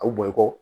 A bɛ bɔ i kɔ